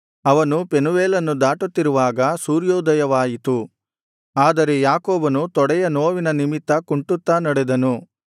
ಅವನು ಪೆನೂವೇಲನ್ನು ದಾಟುತ್ತಿರುವಾಗ ಸೂರ್ಯೋದಯವಾಯಿತು ಆದರೆ ಯಾಕೋಬನು ತೊಡೆಯ ನೋವಿನ ನಿಮಿತ್ತ ಕುಂಟುತ್ತಾ ನಡೆದನು